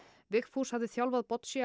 Vigfús hafði þjálfað